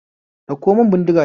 Ɗauko mun bindiga ta